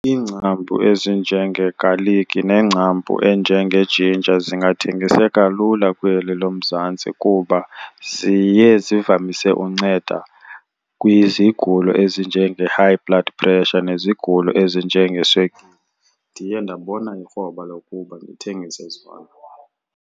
Iingcambu ezinjengegaliki nengcambu enjengejinja zingathengiseka lula kweli loMzantsi kuba ziye zivamise unceda kwizigulo ezinjenge-high blood pressure nezigulo ezinjengeswekile. Ndiye ndabona ikroba lokuba ndithengise zona.